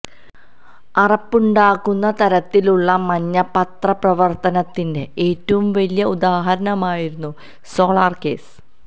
അറപ്പുണ്ടാക്കുന്ന തരത്തിലുള്ള മഞ്ഞപത്രപ്രവര്ത്തനത്തിന്റെ ഏറ്റവും വലിയ ഉദാഹരണമായിരുന്നു സോളാര് കേസ്